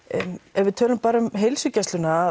ef við tölum bara um heilsugæsluna